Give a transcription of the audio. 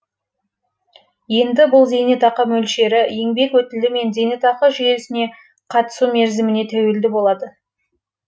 енді бұл зейнетақы мөлшері еңбек өтілі мен зейнетақы жүйесіне қатысу мерзіміне тәуелді болады